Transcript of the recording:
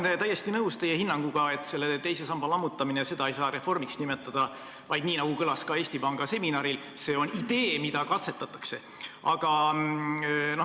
Ma olen täiesti nõus teie hinnanguga, et selle teise samba lammutamist ei saa reformiks nimetada, vaid – nii nagu kõlas ka Eesti Panga seminaril – see on idee, mida katsetatakse.